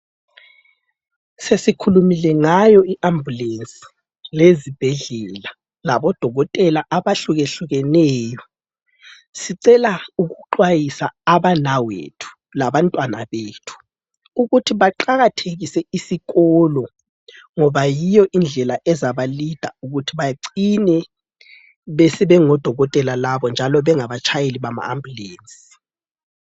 Sesikhulumile ngayo iambulensi, lezibhedlela, labodokotela, abahlukehlukeneyo, sicela ukuxwayisa abanawethu labantwana bethu ukuthi baqakathekise isikolo ngoba yiyo indlela ezabalida ukuthi bacine sebengodokotela njalo sebengabatshayeli bama ambulensi.